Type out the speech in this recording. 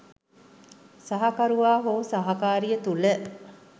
සහකරුවා හෝ සහකාරිය තුළ